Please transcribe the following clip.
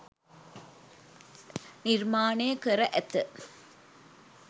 නිර්මාණය කර ඇත